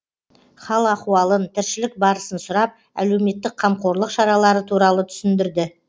хал ахуалын тіршілік барысын сұрап әлеуметтік қамқорлық шаралары туралы түсіндірді